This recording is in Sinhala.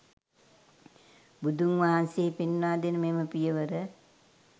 බුදුන් වහන්සේ පෙන්වා දෙන මෙම පියවර